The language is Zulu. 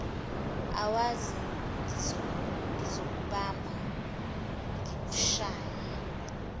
awazi ngizokubamba ngikushaye